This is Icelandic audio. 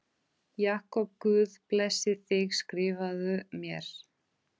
Jakob Guð blessi þig Skrifaðu mér.